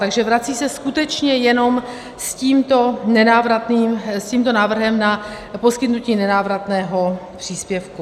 Takže vrací se skutečně jenom s tímto návrhem na poskytnutí nenávratného příspěvku.